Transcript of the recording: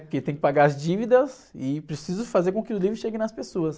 Porque eu tenho que pagar as dívidas e preciso fazer com que o livro chegue nas pessoas.